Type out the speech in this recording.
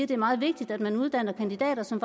det er meget vigtigt at man uddanner kandidater som